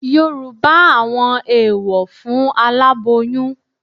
Yorùbá àwọn eèwọ̀ fún aláboyún